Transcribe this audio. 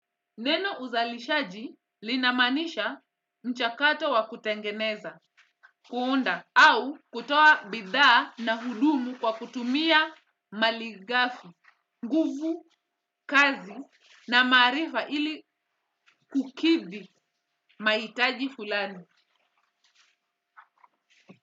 Neno uzalishaji linamanisha mchakato wa kutengeneza, kuunda, au kutoa bidhaa na hudumu kwa kutumia mali ghafi kazi na maarifa ili kukidhi mahitaji fulani.